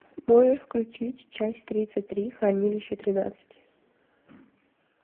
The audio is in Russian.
можешь включить часть тридцать три хранилище тринадцать